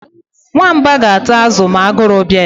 Nwamba ga-ata azụ a ma agụrụ bia ya